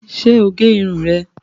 Ṣé o gé irun rẹ̀